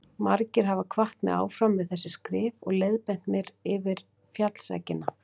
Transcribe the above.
Margir hafa hvatt mig áfram við þessi skrif og leiðbeint mér yfir fjallseggina.